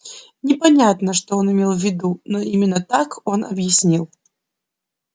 непонятно что он имел в виду но именно так он объяснил